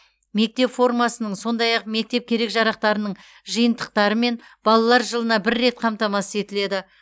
мектеп формасының сондай ақ мектеп керек жарақтарының жиынтықтарымен балалар жылына бір рет қамтамасыз етіледі